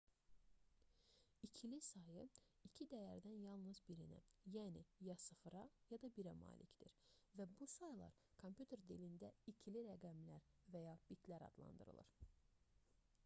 i̇kili sayı iki dəyərdən yalnız birinə yəni ya 0-a ya da 1-ə malikdir və bu saylar kompüter dilində ikili rəqəmlər və ya bitlər adlandırılır